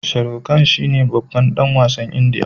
Sharukhan shine babban dan wasn indiya